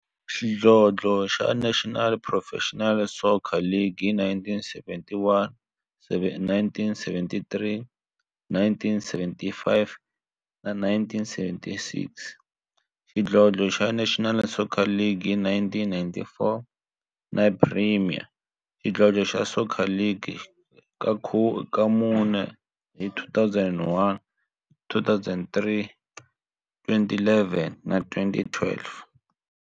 xidlodlo xa National Professional Soccer League hi 1971, 1973, 1975 na 1976, xidlodlo xa National Soccer League hi 1994, na Premier Xidlodlo xa Soccer League ka mune, hi 2001, 2003, 2011 na 2012.